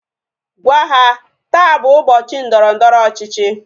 Gwaa ha! Taa bụ ụbọchị ndọrọndọrọ ọchịchị